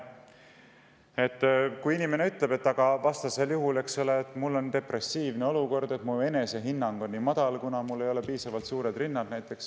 Inimene ütleb, et tal on depressiivne olukord, tema enesehinnang on väga madal, kuna tal ei ole piisavalt suuri rindu.